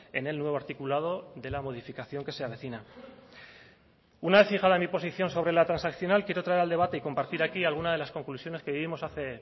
en el nuevo articulado de la modificación que se avecina una vez fijada mi posición sobre la transaccional quiero traer al debate y compartir aquí alguna de las conclusiones que vivimos hace